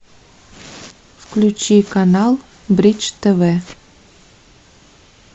включи канал бридж тв